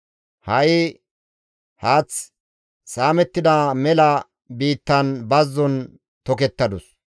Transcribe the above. Ha7i haath saamettida mela biittan bazzon tokettadus.